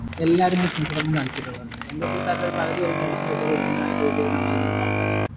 എല്ലാരും business തൊടങ്ങാൻ താല്പര്യം ഉള്ളവരല്ലേ എന്റെ കൂട്ടുകാരിൽ പകുതിപേരും പെണ്ണും കെട്ടി കുഞ്ഞുങ്ങൾ ആയി ആൾക്കാര